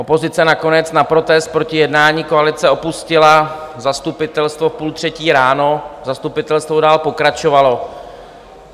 Opozice nakonec na protest proti jednání koalice opustila zastupitelstvo v půl třetí ráno, zastupitelstvo dál pokračovalo.